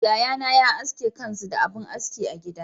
Yayana ya aske kansu da abin aski ba gida.